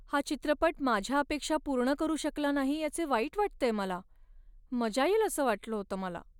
हा चित्रपट माझ्या अपेक्षा पूर्ण करू शकला नाही याचे वाईट वाटतेय मला. मजा येईल असं वाटलं होतं मला.